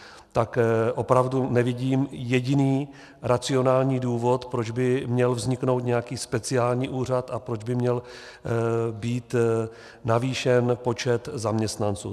Tak opravdu nevidím jediný racionální důvod, proč by měl vzniknout nějaký speciální úřad a proč by měl být navýšen počet zaměstnanců.